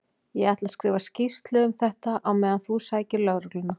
Ég ætla að skrifa skýrslu um þetta á meðan þú sækir lögregluna.